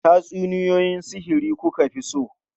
Tatsuniyoyi sihiri ku ka fi so?